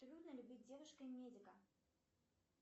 трудно ли быть девушкой медика